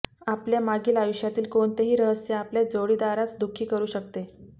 आपल्या मागील आयुष्यातील कोणतेही रहस्य आपल्या जोडीदारास दुःखी करू शकते